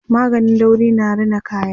maganin dauri na Rina kaya